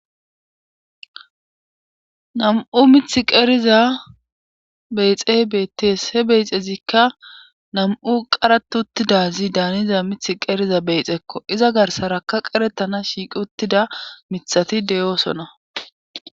nam7u mith qeriza beyxe beettees he beyxezikka nam7u qarat uttidazi daaniza mith qeriza beyxekko iza garsaraka qeretana shiiqi uttida mithati deyoosona